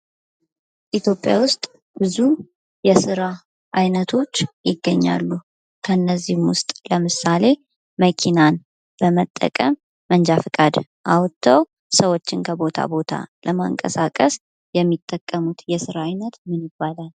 ኢትዮጵያ ውስጥ ብዙ የሥራ ዓይነቶች ይገኛሉ። ከእነዚህም ውስጥ ለምሳሌ መኪናን በመጠቀም መንጃ ፈቃድ አውጥተው ሰዎችን ከቦታ ቦታ ለማንቀሳቀስ የሚጠቀሙት የሥራ ዓይነት ምን ይባላል?